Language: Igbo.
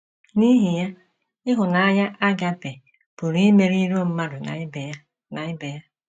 N’ihi ya, ịhụnanya a·gaʹpe pụrụ imeri iro mmadụ na ibe ya na ibe ya.